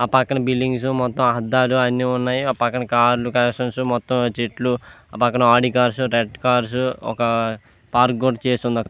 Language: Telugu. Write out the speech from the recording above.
ఆ పక్కన బిల్డింగ్స్ మొత్తం అద్దాలు అన్ని ఉన్నాయి. ఆ పక్కన కార్లు కలెక్షన్స్ మొత్తం చెట్లు పక్కన ఆడి కార్డ్స్ రెడ్ కార్స్ ఒక్క పార్క్ కూడ చేసే --